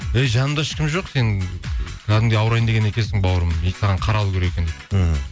ей жаныңда ешкім жоқ сенің кәдімгідей ауырайын деген екенсің бауырым саған қаралу керек екен дейді мхм